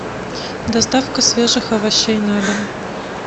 доставка свежих овощей на дом